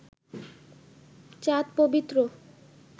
চাঁদ পবিত্র